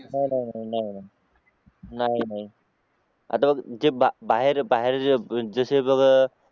नाही नाही आता बघ जे बाहेर जसे बघ